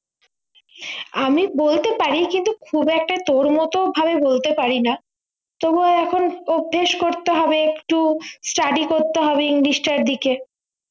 আমি বলতে পারি কিন্তু খুব একটা তোর মতো ভাবে বলতে পারি না তবুও এখন অভ্যেস করতে হবে একটু study করতে হবে english টার দিকে